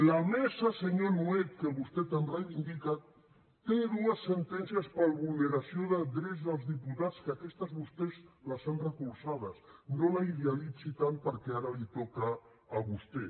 la mesa senyor nuet que vostè tant reivindica té dues sentències per vulneració de drets dels diputats que aquestes vostès les han recolzades no la idealitzi tant perquè ara li toca a vostè